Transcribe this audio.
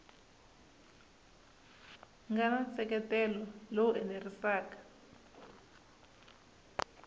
nga na nseketelo lowu enerisaka